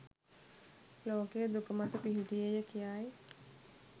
ලෝකය දුක මත පිහිටියේය කියායි.